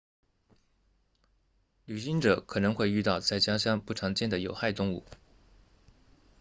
旅行者可能会遇到在家乡不常见的有害动物